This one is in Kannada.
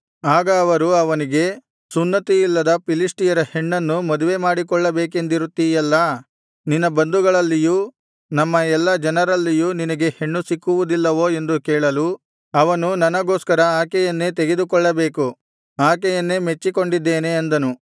ಆಗ ಅವರು ಅವನಿಗೆ ಸುನ್ನತಿಯಿಲ್ಲದ ಫಿಲಿಷ್ಟಿಯರ ಹೆಣ್ಣನ್ನು ಮದುವೆ ಮಾಡಿಕೊಳ್ಳಬೇಕೆಂದಿರುತ್ತೀಯಲ್ಲಾ ನಿನ್ನ ಬಂಧುಗಳಲ್ಲಿಯೂ ನಮ್ಮ ಎಲ್ಲಾ ಜನರಲ್ಲಿಯೂ ನಿನಗೆ ಹೆಣ್ಣು ಸಿಕ್ಕುವುದಿಲ್ಲವೋ ಎಂದು ಕೇಳಲು ಅವನು ನನಗೋಸ್ಕರ ಆಕೆಯನ್ನೇ ತೆಗೆದುಕೊಳ್ಳಬೇಕು ಆಕೆಯನ್ನೇ ಮೆಚ್ಚಿಕೊಂಡಿದ್ದೇನೆ ಅಂದನು